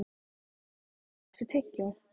Geirharður, áttu tyggjó?